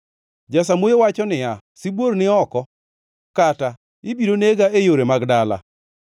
Jasamuoyo wacho niya, “Sibuor ni oko!” Kata, “Ibiro nega e yore mag dala!”